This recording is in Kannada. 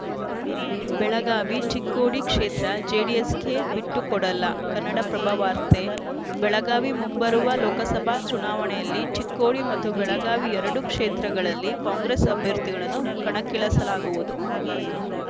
ಬೆಳಗಾವಿ ಚಿಕ್ಕೋಡಿ ಕ್ಷೇತ್ರ ಜೆಡಿಎಸ್‌ಗೆ ಬಿಟ್ಟುಕೊಡಲ್ಲ ಕನ್ನಡಪ್ರಭ ವಾರ್ತೆ ಬೆಳಗಾವಿ ಮುಂಬರುವ ಲೋಕಸಭಾ ಚುನಾವಣೆಯಲ್ಲಿ ಚಿಕ್ಕೋಡಿ ಮತ್ತು ಬೆಳಗಾವಿ ಎರಡೂ ಕ್ಷೇತ್ರಗಳಲ್ಲಿ ಕಾಂಗ್ರೆಸ್‌ ಅಭ್ಯರ್ಥಿಗಳನ್ನು ಕಣಕ್ಕಳಿಸಲಾಗುವುದು